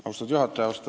Austatud juhataja!